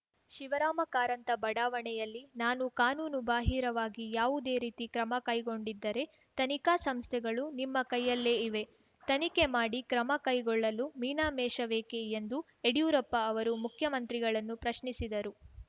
ಶಿವರಾಮ ಕಾರಂತ ಬಡಾವಣೆಯಲ್ಲಿ ನಾನು ಕಾನೂನು ಬಾಹಿರವಾಗಿ ಯಾವುದೇ ರೀತಿ ಕ್ರಮ ಕೈಗೊಂಡಿದ್ದರೆ ತನಿಖಾ ಸಂಸ್ಥೆಗಳು ನಿಮ್ಮ ಕೈಯಲ್ಲೇ ಇವೆ ತನಿಖೆ ಮಾಡಿ ಕ್ರಮ ಕೈಗೊಳ್ಳಲು ಮೀನಾಮೇಷವೇಕೆ ಎಂದು ಯಡಿಯೂರಪ್ಪ ಅವರು ಮುಖ್ಯಮಂತ್ರಿಗಳನ್ನು ಪ್ರಶ್ನಿಸಿದರು